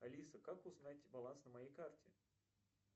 алиса как узнать баланс на моей карте